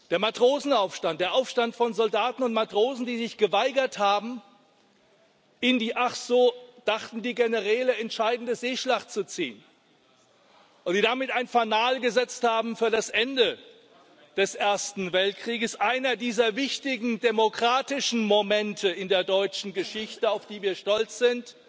Der Matrosenaufstand, der Aufstand von Soldaten und Matrosen, die sich geweigert haben, in die ach so dachten die Generäle entscheidende Seeschlacht zu ziehen und die damit ein Fanal gesetzt haben für das Ende des Ersten Weltkrieges. Einer dieser wichtigen demokratischen Momente in der deutschen Geschichte, auf die wir stolz sind